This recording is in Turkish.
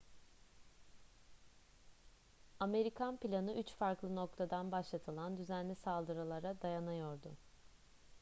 amerikan planı üç farklı noktadan başlatılan düzenli saldırılara dayanıyordu